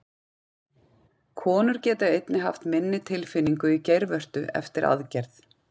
Konur geta einnig haft minni tilfinningu í geirvörtu eftir aðgerð.